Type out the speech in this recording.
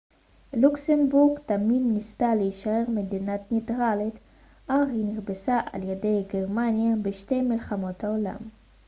לוקסמבורג תמיד ניסתה להישאר מדינה ניטרלית אך היא נכבשה על ידי גרמניה בשתי מלחמות העולם